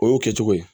O y'o kɛ cogo ye